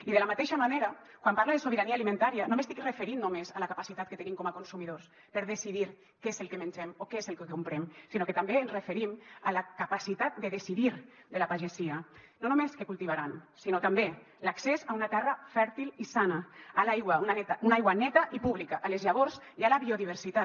i de la mateixa manera quan parle de sobirania alimentària no m’estic referint només a la capacitat que tenim com a consumidors per decidir què és el que mengem o què és el que comprem sinó que també ens referim a la capacitat de decidir de la pagesia no només què cultivaran sinó també l’accés a una terra fèrtil i sana a l’aigua una aigua neta i pública a les llavors i a la biodiversitat